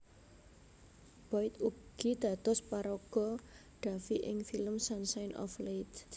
Boyd ugi dados paraga Davie ing film Sunshine of Leith